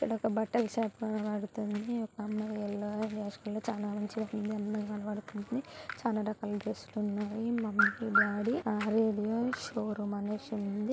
ఇక్కడ ఒక బట్టల శాన్ వాడితోని ఒక అమ్మోయి ఎళ్ళొ వేసుకొని చాలా మంచిగా ఉంది అందంగా కనబడుతుంది. చాలా రకాల డ్రసులు ఉన్నాయి. మమ్మి డాడి ఆరెడు వేల శొరూం అనేసి అనిన్ంది.